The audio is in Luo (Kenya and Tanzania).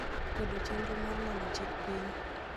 kwedo chenro mar nono chik piny